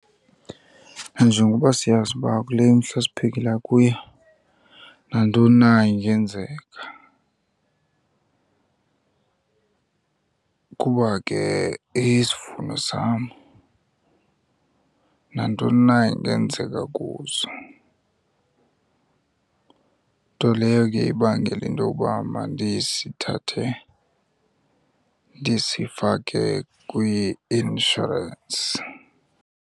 Nanjengoba siyazi uba kule mihla siphilela kuyo nantoni na ingenzeka, kuba ke isivuno sam nantoni na ingenzeka kuso. Nto leyo ke ibangele into yoba mandisithathe ndisifake kwi-inshorensi.